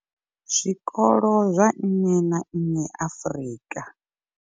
zwikolo zwa nnyi na nnyi Afrika.